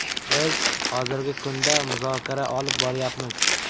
Biz hozirgi kunda muzokara olib boryapmiz.